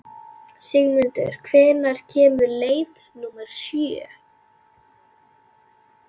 Sigmundur, hvenær kemur leið númer sjö?